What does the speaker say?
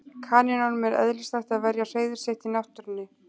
Kanínum er eðlislægt að verja hreiður sitt í náttúrunni.